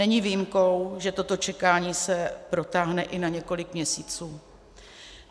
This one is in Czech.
Není výjimkou, že toto čekání se protáhne i na několik měsíců.